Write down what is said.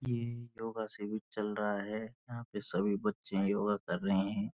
ये योगा से चल रहा है यहाँ पे सभी बच्चे योगा कर रहे हैं।